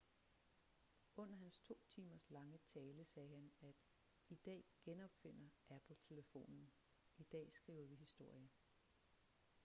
under hans to timers lange tale sagde han at i dag genopfinder apple telefonen i dag skriver vi historie